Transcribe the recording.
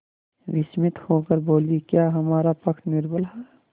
विस्मित होकर बोलीक्या हमारा पक्ष निर्बल है